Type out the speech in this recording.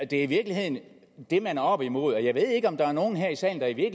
det er i virkeligheden det man er oppe imod jeg ved ikke om der er nogen her i salen der i